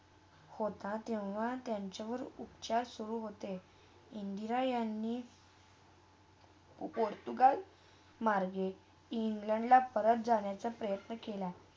होता तेव्हा त्यांच्यावर उपचार सुरू होते. इंद्रा यांनी अगड -तूगड मार्ग इंग्लंडला परत जाण्याचा प्रयत्न केला.